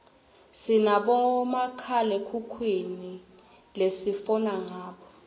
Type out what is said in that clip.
sinabomakhalekhukhwini lesifona ngabo